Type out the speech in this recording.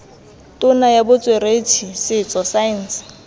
tona ya botsweretshi setso saense